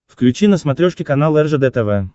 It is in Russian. включи на смотрешке канал ржд тв